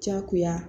Diyagoya